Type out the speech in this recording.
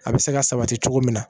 A bɛ se ka sabati cogo min na